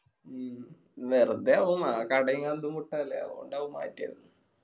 മ്മ് വെറുതെ ആവു ആ കട അതോണ്ടാവും മാറ്റിയത്